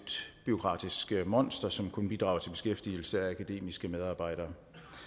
bureaukratisk monster som kun bidrager til beskæftigelse af akademiske medarbejdere